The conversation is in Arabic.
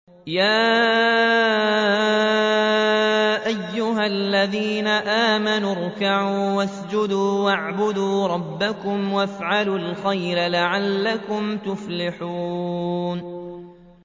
يَا أَيُّهَا الَّذِينَ آمَنُوا ارْكَعُوا وَاسْجُدُوا وَاعْبُدُوا رَبَّكُمْ وَافْعَلُوا الْخَيْرَ لَعَلَّكُمْ تُفْلِحُونَ ۩